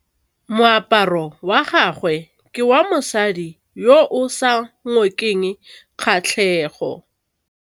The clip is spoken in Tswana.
Moaparô wa gagwe ke wa mosadi yo o sa ngôkeng kgatlhegô.